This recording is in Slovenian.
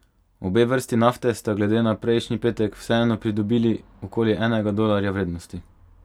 Obe vrsti nafte sta glede na prejšnji petek vseeno pridobili okoli enega dolarja vrednosti.